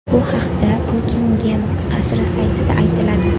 Bu haqda Bukingem qasri saytida aytiladi .